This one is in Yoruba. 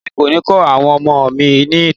Èmi kò ni kọ àwọn ọmọ mi ìtàn.